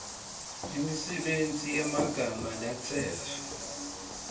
imisebenti yemagama latsetfwe